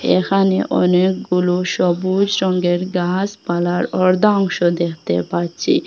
এখানে অনেকগুলো সবুজ রঙ্গের গাসপালার অর্ধাংশ দেখতে পারছি।